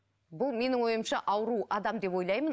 бұл менің ойымша ауру адам деп ойлаймын